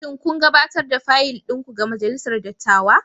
Shin kun gabatar da fayil ɗin ku ga Majalisar Dattawa?